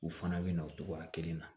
U fana bɛ na o cogoya kelen na